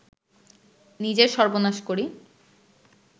নিজের সর্বনাশ করি